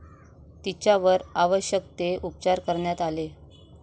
तिच्यावर आवश्यक ते उपचार करण्यात आले.